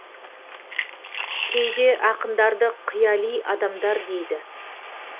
кейде ақындарды қияли адамдар дейді